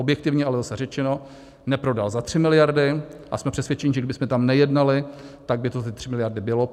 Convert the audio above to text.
Objektivně ale zase řečeno, neprodal za 3 miliardy a jsme přesvědčeni, že kdybychom tam nejednali, tak by to ty 3 miliardy byly.